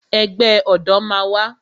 Ẹgbẹ́ ọ̀dọ̀ máa wà